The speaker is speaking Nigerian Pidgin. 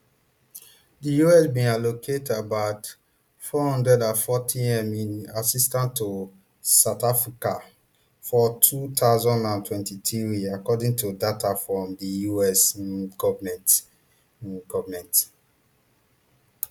di us bin allocate about four hundred and fortym in assistance to south africa for two thousand and twenty-three according to data from di us um goment um goment